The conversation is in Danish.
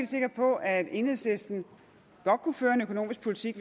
sikker på at enhedslisten godt kunne føre en økonomisk politik